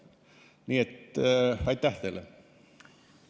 Nii et aitäh teile!